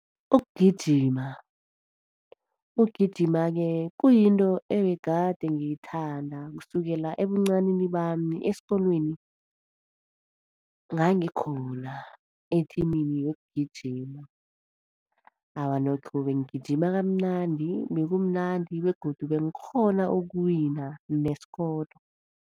Ukugijima. Ukugijima-ke kuyinto ebegade ngiyithanda, kusukela ebuncanini bami. Esikolweni ngangikhona ethimini yokugijima. Awa nokho bengigijima kamnandi, bekumnandi begodu bengikghona ukuwina nesikolo.